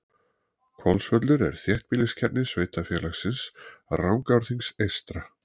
Hvolsvöllur er þéttbýliskjarni sveitarfélagsins Rangárþings eystra.